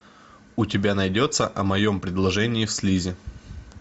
у тебя найдется о моем перерождении в слизь